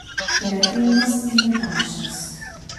Kreativnost in natančnost.